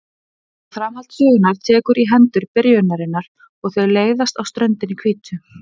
Og framhald sögunnar tekur í hendur byrjunarinnar og þau leiðast á ströndinni hvítu.